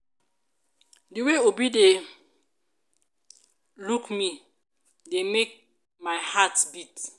the way obi dey look me dey make my heart beat.